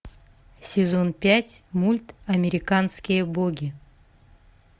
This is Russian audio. сезон пять мульт американские боги